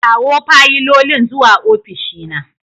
Kawo fayilolin zuwa ofishina.